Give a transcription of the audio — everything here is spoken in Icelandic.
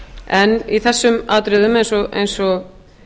en í þessum atriðum eins og